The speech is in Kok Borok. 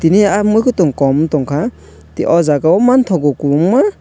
miyaa mokotong kom wng tang kha te o jaga o mantago kobngma.